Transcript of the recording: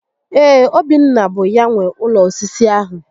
Ee, Obinna bụ ya nwe ụlọ osisi ahụ